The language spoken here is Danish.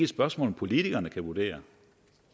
spørgsmål politikerne kan vurdere